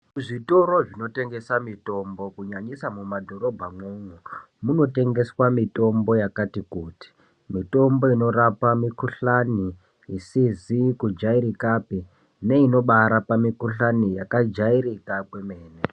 Kuzvitoro zvinotengesa mitombo kunyanyisa mumadhorobhamwo munotengeswa mitombo yakati kuti, mitombo inorapa mikuhlani isizi kujairikapi neinobaarapa mikuhlani yakajairika kwemene